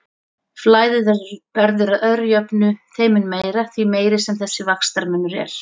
Flæðið verður að öðru jöfnu þeim mun meira, því meiri sem þessi vaxtamunur er.